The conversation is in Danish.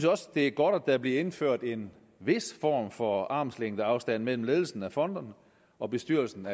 også det er godt at der bliver indført en vis form for armslængdeafstand mellem ledelsen af fondene og bestyrelsen